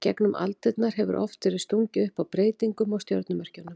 Í gegnum aldirnar hefur oft verið stungið upp á breytingum á stjörnumerkjunum.